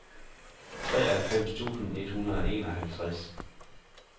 treoghalvfems tusind et hundrede og enoghalvtreds